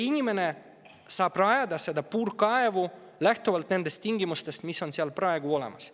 Inimene saab rajada selle puurkaevu lähtuvalt nendest tingimustest, mis on praegu olemas.